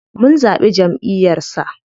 Mun zaɓi jamʼiyar sa.